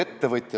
Viktor Vassiljev.